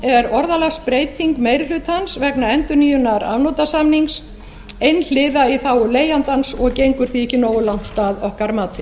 er orðalagsbreyting meiri hlutans vegna endurnýjunar afnotasamnings einhliða í þágu leigjandans og gengur því ekki nógu langt að okkar mati